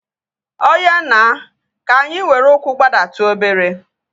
Oya na, ka anyị were ụkwụ gbadatu obere